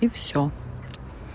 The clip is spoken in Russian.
и все